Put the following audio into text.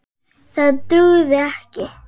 Það dugði ekki.